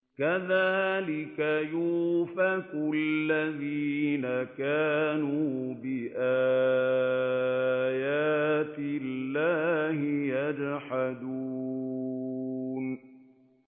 كَذَٰلِكَ يُؤْفَكُ الَّذِينَ كَانُوا بِآيَاتِ اللَّهِ يَجْحَدُونَ